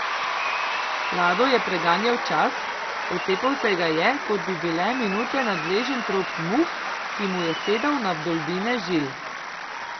Lado je preganjal čas, otepal se ga je, kot bi bile minute nadležen trop muh, ki mu je sedal na vdolbine žil.